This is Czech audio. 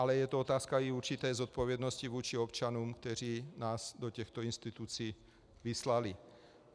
Ale je to otázka i určité zodpovědnosti vůči občanům, kteří nás do těchto institucí vyslali.